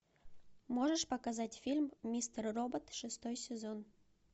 можешь показать фильм мистер робот шестой сезон